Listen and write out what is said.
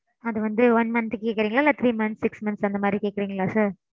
அது வந்து one month க்கு கேக்குறீங்களா இல்ல three months six months அந்த மாதிரி கேக்குறீங்களா sir?